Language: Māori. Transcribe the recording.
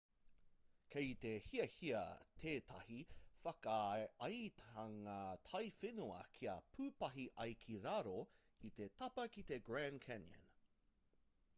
kei te hiahiatia tētahi whakaaetanga taiwhenua kia pūpahi ai ki raro i te tapa ki te grand canyon